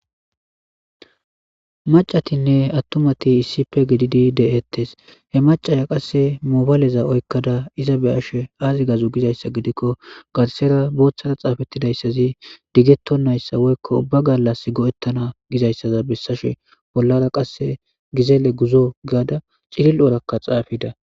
macatinne attumati issipe gididi de7ettes he macaya qasse mobaleza oykkada iza be ashe aazi gazu gizayssa gidikko garsera booththara xaafettidayssazi diggettonnayssa woykko ubba gallas go7ettana gizayssaza bessashe bollara qasse gizeele guzo giada cilil7orakka xaafida